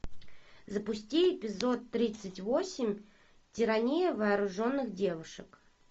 запусти эпизод тридцать восемь тирания вооруженных девушек